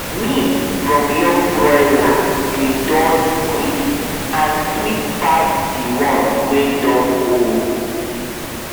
meat from young broiler dey Accepted quick and sweet pass the one wey don old